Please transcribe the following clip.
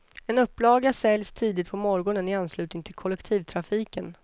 En upplaga säljs tidigt på morgonen i anslutning till kollektivtrafiken.